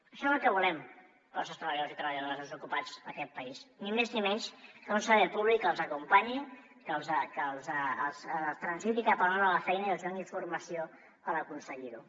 això és el que volem per als nostres treballadors i treballadores desocupats d’aquest país ni més ni menys que un servei públic que els acompanyi que els faci transitar cap a una nova feina i els hi doni informació per aconseguir ho